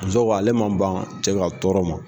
Muso ko ale ma ban cɛ ka tɔɔrɔ ma.